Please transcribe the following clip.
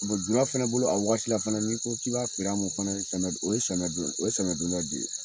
Bon jula fana bolo a waati fana n'i ko k'i b'a feer'a ma fana o ye o ye samiyɛ, o ye samiyhɛdonda de ye